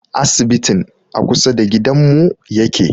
Asibitin a kusa da gidanmu yake